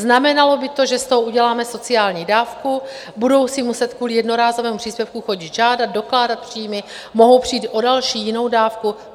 Znamenalo by to, že z toho uděláme sociální dávku, budou si muset kvůli jednorázovému příspěvku chodit žádat, dokládat příjmy, mohou přijít o další jinou dávku.